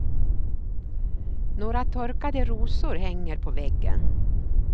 Några torkade rosor hänger på väggen.